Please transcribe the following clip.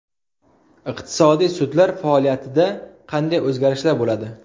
Iqtisodiy sudlar faoliyatida qanday o‘zgarishlar bo‘ladi?.